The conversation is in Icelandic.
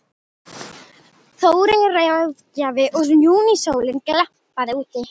Þóreyjar ráðgjafa og júnísólin glampaði úti.